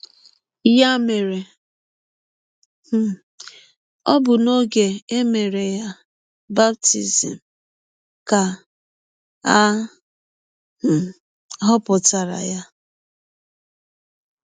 Ya mere, um ọ bụ n’ọge e mere ya baptism ka a um họpụtara ya.